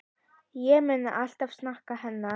Ég mun alltaf sakna hennar.